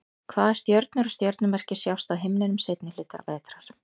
hvaða stjörnur og stjörnumerki sjást á himninum seinni hluta vetrar